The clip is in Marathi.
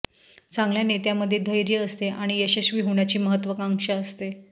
चांगल्या नेत्यामध्ये धैर्य असते आणि यशस्वी होण्याची महत्वाकांक्षा असते